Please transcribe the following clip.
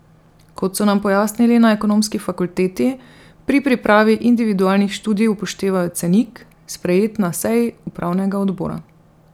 Kot so nam pojasnili na ekonomski fakulteti, pri pripravi individualnih študij upoštevajo cenik, sprejet na seji upravnega odbora.